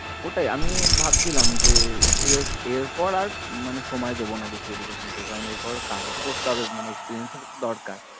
ওইটাই আমি ভাবছিলাম যে এর এর পর আর মানে সময় দেব না বেশি education কে কারণ এরপর কাজ ও তো করতে হবে মানে experience এর ও তো দরকার